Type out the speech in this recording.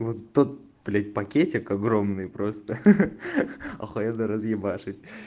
вот тот блять пакетик огромный просто ха ха ха ахуенно разъебашить